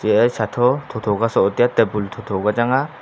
ya shatho tho tho sola taitai ya tabu tho tho ka chaya.